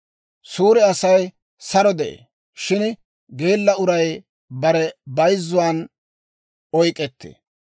Suure Asay saro de'ee; shin geella uray bare bayzzuwaan oyk'k'ettee.